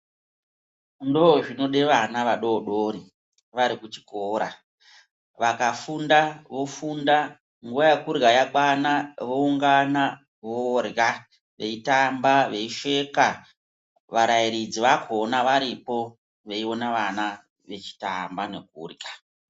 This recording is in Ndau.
Ndozvinode ana vadori dori varikuchikora, vakafunda, vofunda nguva yerya yakwana vowungana vorya ,veyitamba veseka varairidzi vakona varipo veyiwone vana vechitamba nekurya.